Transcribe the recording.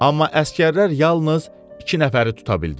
Amma əsgərlər yalnız iki nəfəri tuta bildilər.